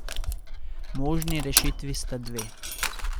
Možni rešitvi sta dve.